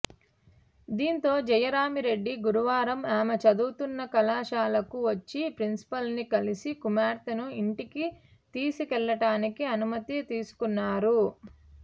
దీంతో జయరామిరెడ్డి గురువారం ఆమె చదువుతున్న కళాశాలకు వచ్చి ప్రిన్సిపాల్ను కలిసి కుమార్తెను ఇంటికి తీసుకెళ్లటానికి అనుమతి తీసుకున్నారు